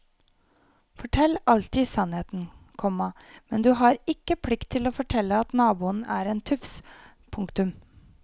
Fortell alltid sannheten, komma men du har ikke plikt til å fortelle at naboen er en tufs. punktum